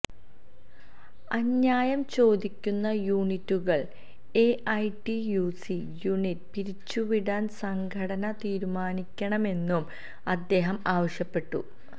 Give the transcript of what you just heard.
അന്യായം ചോദിക്കുന്ന യൂണിറ്റുകൾ എഐടിയുസി യൂണിറ്റ് പിരിച്ചുവിടാൻ സംഘടന തീരുമാനിക്കണമെന്നും അദ്ദേഹം ആവശ്യപ്പെട്ടു